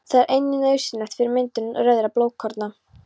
Það er einnig nauðsynlegt fyrir myndun rauðra blóðkorna.